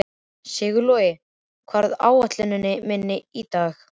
Sigurlogi, hvað er á áætluninni minni í dag?